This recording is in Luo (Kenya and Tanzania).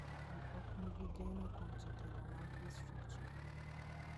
Ji ok nigi geno kuom jotelo mag distriktno.